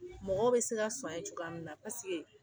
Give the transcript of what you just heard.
Mɔgɔw bɛ se ka sɔn a ye cogoya min na